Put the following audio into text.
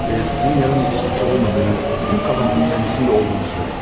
Və Dunyanın bir suçu olmadığını, bütün qəbahətin qəndisində olduğunu söyləmiş.